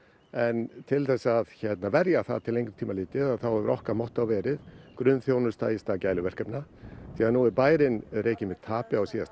en til að verja það til lengri tíma litið þá hefur okkar mottó verið grunnþjónusta í stað gæluverkefna því nú er bærinn rekinn með tapi á síðasta